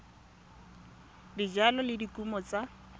ya dijalo le dikumo tsa